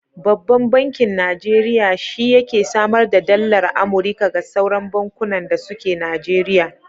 Babban bankin Najeriya shi yake samar da dallar Amurika ga sauran bankunan da suke Najeriya.